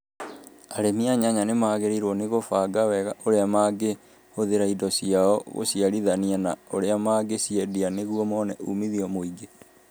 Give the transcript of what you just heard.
Arĩmi a nyanya nĩ magĩrĩirũo nĩ kũbanga wega ũrĩa mangĩhũthĩra indo ciao guciarithania, na ũrĩa mangĩciendia nĩguo mone umithio mũingĩ.